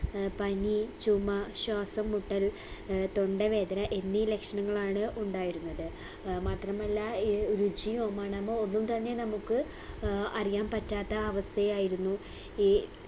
അഹ് പനി ചുമ ശ്വാസംമുട്ടൽ ഏർ തൊണ്ടവേദന എന്നീ ലക്ഷണങ്ങളാണ് ഉണ്ടായിരുന്നത് ഏർ മാത്രമല്ല ഏർ രുചിയോ മണമോ ഒന്നും തന്നെ നമുക്ക് ഏർ അറിയാൻ പറ്റാത്ത അവസ്ഥയായിരുന്നു ഈ